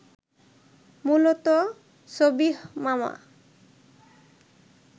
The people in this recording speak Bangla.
মূলত সবিহ মামা